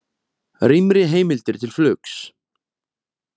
Rýmri heimildir til flugs